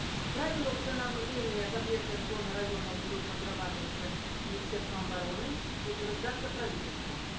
правила установления запретных зон и районов будут разрабатываться министерством обороны и утверждаться правительством